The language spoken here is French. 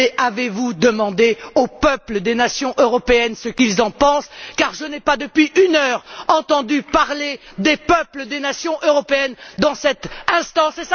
Mais avez vous demandé aux peuples des nations européennes ce qu'ils en pensent? Car je n'ai pas, depuis une heure, entendu parler des peuples des nations européennes dans cette enceinte.